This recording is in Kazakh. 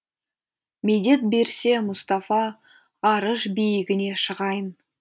медет берсе мұстафа арыш биігіне шығайын